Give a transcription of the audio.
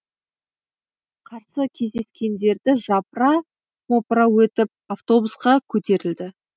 қарсы кездескендерді жапыра мопыра өтіп автобусқа көтерілді